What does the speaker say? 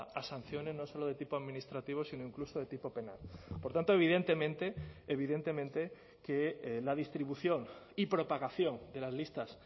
a sanciones no solo de tipo administrativo sino incluso de tipo penal por tanto evidentemente evidentemente que la distribución y propagación de las listas